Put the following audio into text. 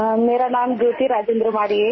My name is Jyoti Rajendra Waade